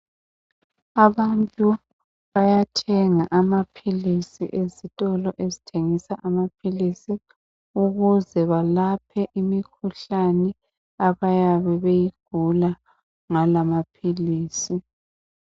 Abantu bayathenga amaphilisi ezitolo ezithengisa amaphilisi ukuze balaphe imikhuhlane abayabe beyigula ngala maphilisi .